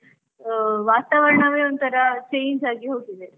ಅಹ್ ವಾತಾವರಣವೇ ಒಂತರಾ change ಆಗಿ ಹೋಗಿದೆ.